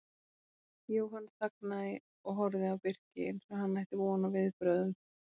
Jóhann þagnaði og horfði á Birki eins og hann ætti von á viðbrögðum.